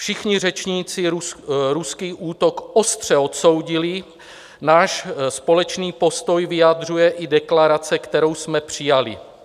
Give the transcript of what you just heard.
Všichni řečníci ruský útok ostře odsoudili, náš společný postoj vyjadřuje i deklarace, kterou jsme přijali.